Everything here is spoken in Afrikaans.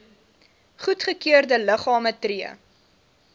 goedgekeurde liggame tree